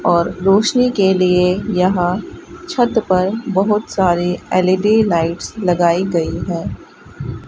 और रोशनी के लिए यहां छत पर बहोत सारे एल_इ_डी लाइट्स लगाई गई है।